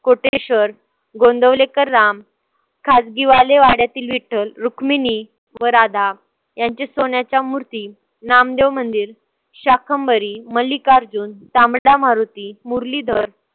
कोटेश्वर, गोंदवलेकर राम, खाजगीवाले वाड्यातील विठ्ठल, रुक्मिणी व राधा यांचे सोन्याच्या मूर्ती, नामदेव मंदिर, शाकंभरी, मलिकार्जुन, तांबडा मारुती, मुरलीधर